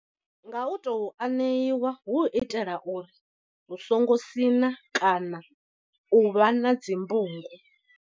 Nga u to aneiwa hu u itela uri hu songo siṋa kana u vha na dzimbungu.